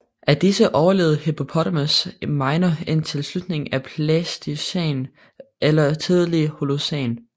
Af disse overlevede Hippopotamus minor indtil slutningen af Pleistocæn eller tidlig Holocæn